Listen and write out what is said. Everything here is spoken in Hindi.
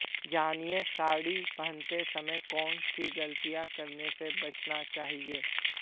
जानिए साड़ी पहनते समय कौन सी गलतियां करने से बचना चाहिए